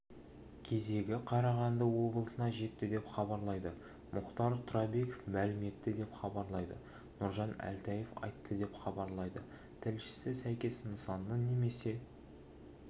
кезегі қарағанды облысына жетті деп хабарлайды мұхтар тұрабеков мәлім етті деп хабарлайды нұржан әлтаев айтты деп хабарлайды тілшісі сәйкес нысанның немесе